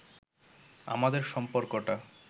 আমাদের সম্পর্কটা